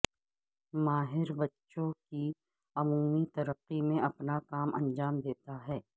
ماہر بچوں کی عمومی ترقی میں اپنا کام انجام دیتا ہے